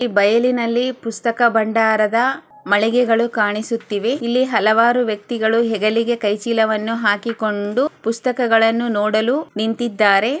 ಈ ಬಯಲಿನಲ್ಲಿ ಹಲವಾರು ಪುಸ್ತಕಾ ಬಂಡಾರದ ಮಾಳಿಗೆಗಳು ಕಾಣಿಸುತ್ತಿವೆ ಇಲ್ಲಿ ಹಲವಾರು ವ್ಯಕ್ತಿಗಳೂ ಹೆಗಲಿಗೆ ಕೈ ಚೀಲವನು ಹಾಕಿಕೊಂಡು ಪುಸ್ತಕ ಗಳನ್ನು ನೋಡಲು ನಿಂತಿದ್ದಾರೆ.